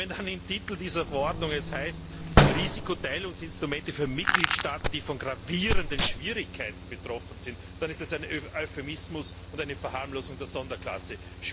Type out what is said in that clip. Wenn es dann im Titel dieser Verordnung heißt Risikoteilungsinstrumente für Mitgliedstaaten, die von gravierenden Schwierigkeiten betroffen sind, dann ist das ein Euphemismus und eine Verharmlosung der Sonderklasse.